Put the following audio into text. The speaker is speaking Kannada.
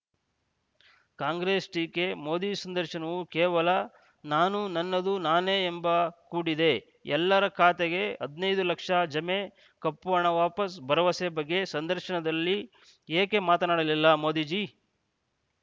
ಕಾಂಗ್ರೆಸ್‌ ಟೀಕೆ ಮೋದಿ ಸಂದರ್ಶನವು ಕೇವಲ ನಾನು ನನ್ನದು ನಾನೇ ಎಂಬ ಕೂಡಿದೆ ಎಲ್ಲರ ಖಾತೆಗೆ ಹದಿನೈದು ಲಕ್ಷ ಜಮೆ ಕಪ್ಪುಹಣ ವಾಪಸು ಭರವಸೆ ಬಗ್ಗೆ ಸಂದರ್ಶನದಲ್ಲಿ ಏಕೆ ಮಾತನಾಡಲಿಲ್ಲ ಮೋದೀಜೀ